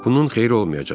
Bunun xeyri olmayacaq.